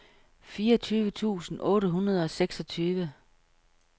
fireogtyve tusind otte hundrede og seksogtyve